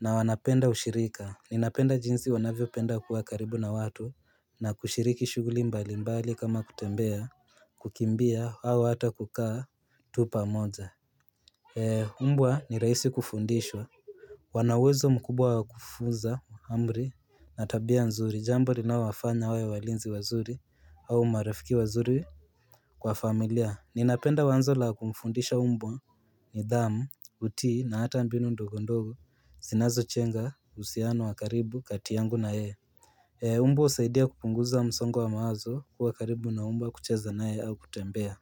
na wanapenda ushirika, ninapenda jinsi wanavyopenda kuwa karibu na watu na kushiriki shughuli mbalimbali kama kutembea, kukimbia, au hata kukaa tu pamoja Mbwa ni rahisi kufundishwa wana uwezo mkubwa wa kufunza, amri, na tabia nzuri, jambo linaowafanya wawe walinzi wazuri au marafiki wazuri Kwa familia, ninapenda wanzo la kumfundisha mbwa nidhamu, kutii, na hata mbinu ndogo ndogo zinazojenga uhusiano wa karibu kati yangu na yeye. Mbwa husaidia kupunguza msongo wa mawazo, kuwa karibu na mbwa kucheza naye au kutembea.